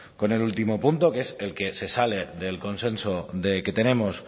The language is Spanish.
con el último punto que es el que se sale del consenso que tenemos